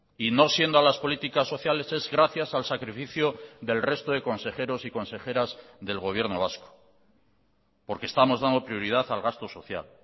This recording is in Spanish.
y no siendo a las políticas sociales es gracias al sacrificio del resto de consejeros y consejeras del gobierno vasco porque estamos dando prioridad al gasto social